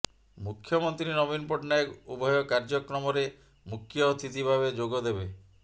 ମୁଖ୍ୟମନ୍ତ୍ରୀ ନବୀନ ପଟ୍ଟନାୟକ ଉଭୟ କାର୍ଯ୍ୟକ୍ରମରେ ମୁଖ୍ୟ ଅତିଥି ଭାବେ ଯୋଗଦେବେ